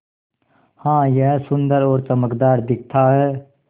हाँ यह सुन्दर और चमकदार दिखता है